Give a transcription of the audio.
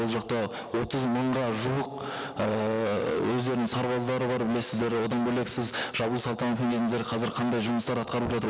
ол жақта отыз мыңға жуық ііі өздерінің сарбаздары бар білесіздер одан бөлек сіз қазір қандай жұмыс атқаралып жатыр